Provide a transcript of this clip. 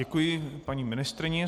Děkuji paní ministryni.